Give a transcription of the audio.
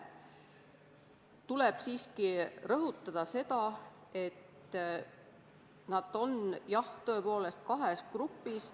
Tuleb siiski rõhutada, et jah, nad on tõepoolest kahes grupis.